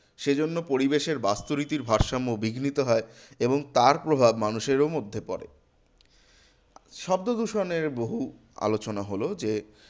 সেজন্য পরিবেশের বাস্তুরীতির ভারসাম্য বিঘ্নিত হয় এবং তার প্রভাব মানুষেরও মধ্যে পরে। শব্দদূষণের বহুল আলোচনা হলো যে,